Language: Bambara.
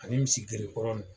Ani misi grekɔrɔn nin.